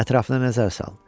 Ətrafına nəzər sal.